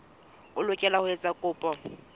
o lokela ho etsa kopo